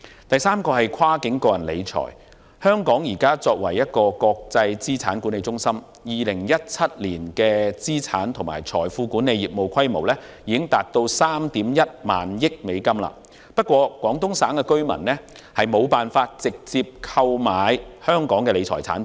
第三，在跨境個人理財方面，香港現為國際資產管理中心，在2017年的資產及財富管理業務規模已達3億 1,000 萬美元，然而，廣東省居民無法直接購買香港的理財產品。